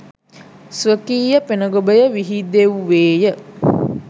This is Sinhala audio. ස්වකීය පෙන ගොබය විහිදෙව්වේය